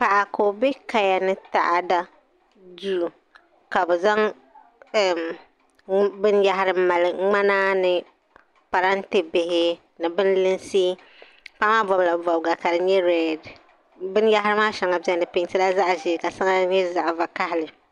Paɣa ka o be kayanitaɣada duu ka bɛ zaŋ binyahari m mali ŋmana ni parante bihi ni binlinsi paɣamaa bobla bobga kadinyɛ redi binyahari maa sheŋɔ di pentila zaɣaʒee ka sheŋa nyɛ zaɣa vakahali.